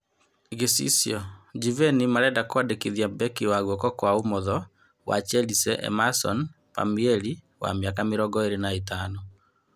(Gicicio) Juveni marenda kũmwandĩkithia mbeki wa guoko kwa ũmotho wa Chasile Emason Pamieri wa mĩaka mĩrongo ĩrĩ na ĩtano.